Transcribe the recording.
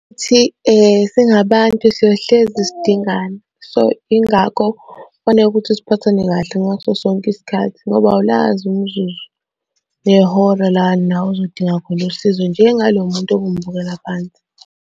Ukuthi singabantu siyohlezi sidingana. So, yingakho kufaneke ukuthi siphathane kahle ngaso sonke isikhathi ngoba awulazi umzuzu nehora la nawe uzodinga khona usizo njengalo muntu obumubukela phansi.